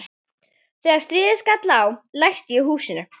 Þegar stríðið skall á læsti ég húsinu.